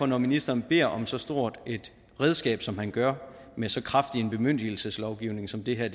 når ministeren beder om så stort et redskab som han gør med så kraftig en bemyndigelseslovgivning som det her